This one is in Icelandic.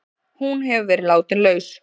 Hún hefur verið látin laus